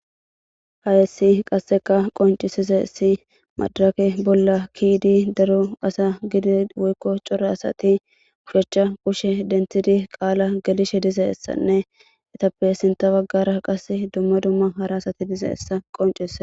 Hayssi qasekka qonccisizayssi maxafe bolla ke'iddi daro asa bolla gede woykko coora asati ooshshachcha kushe denththidii qaalan gellishe dizayssanne eetappe sinththa baggara qasi dumma dumma hara asati dizayssa qoncisises